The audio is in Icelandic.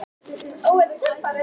Viltu ekki hitta fjölskyldu mína?